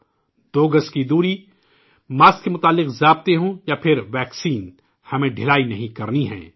'دو گز کی دوری'، ماسک سے جڑے اصول ہو یا پھرویکسین ہمیں ڈھلائی نہیں کرنی ہے